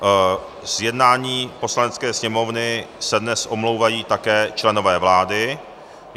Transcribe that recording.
Z jednání Poslanecké sněmovny se dnes omlouvají také členové vlády.